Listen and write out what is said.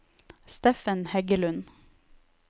Steffen Heggelund